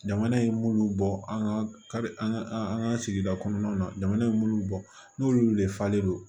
Jamana ye minnu bɔ an ka an ka an ka sigida kɔnɔna na jamana ye minnu bɔ n'olu de falen don